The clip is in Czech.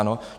Ano.